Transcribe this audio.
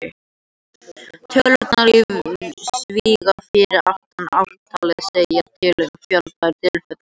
Tölurnar í sviga fyrir aftan ártalið segja til um fjölda tilfella.